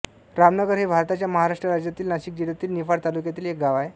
रामनगर हे भारताच्या महाराष्ट्र राज्यातील नाशिक जिल्ह्यातील निफाड तालुक्यातील एक गाव आहे